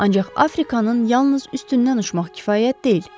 Ancaq Afrikanın yalnız üstündən uçmaq kifayət deyil.